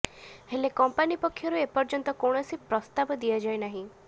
ହେଲେ କମ୍ପାନୀ ପକ୍ଷରୁ ଏପର୍ଯ୍ୟନ୍ତ କୌଣସି ପ୍ରସ୍ତାବ ଦିଆଯାଇ ନାହିଁ